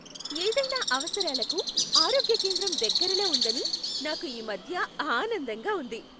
ఏదైనా అవసరాలకు ఆరోగ్య కేంద్రం దగ్గరలో ఉందని నాకు ఈ మధ్య ఆనందంగా ఉంది.